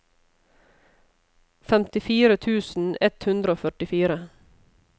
femtifire tusen ett hundre og førtifire